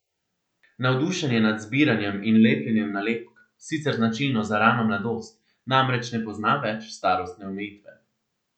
Navdušenje nad zbiranjem in lepljenjem nalepk, sicer značilno za rano mladost, namreč ne pozna več starostne omejitve.